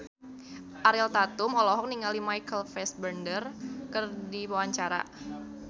Ariel Tatum olohok ningali Michael Fassbender keur diwawancara